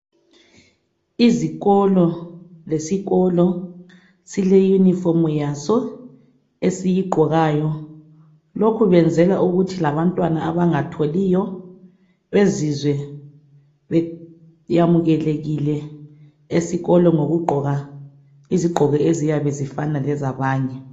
Izikolo lesikolo sileyunifomu yaso esiyigqokayo. Lokhu benzela ukuthi labantwana abangatholiyo bezizwe beyamukelekile esikolo ngokugqoka izizgqoko eziyabe zifana lezabanye.